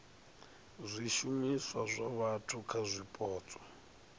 zwishumiswa zwa vhathu kha zwipotso